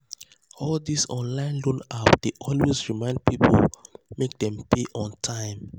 all these online loan apps dey always remind people make dem pay on time.